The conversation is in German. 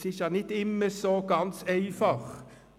Dies ist nicht immer ganz einfach.